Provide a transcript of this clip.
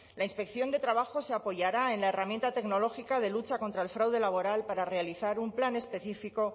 la inspección de trabajo se apoyará en la herramienta tecnológica de lucha contra el fraude laboral para realizar un plan específico